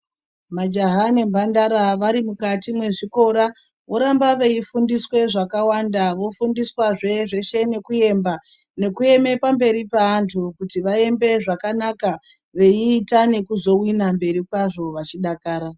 Majaha nemhandara vari mukati mwezvikora voramba veifundiswa zvakawanda vofundiswazve zveshe nekuemba nekueme pamberi pevantu kuti vaembe zvakanaka veita nekuzowina mberi kwazvo vachidakara.